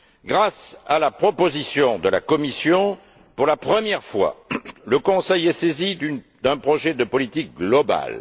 Grâce à la proposition de la Commission, pour la première fois, le Conseil est saisi d'un projet de politique globale.